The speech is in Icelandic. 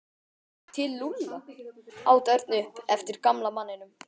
Til Lúlla? át Örn upp eftir gamla manninum.